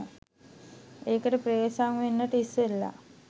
ඒකට ප්‍රවේශ වෙන්නට ඉස්සෙල්ල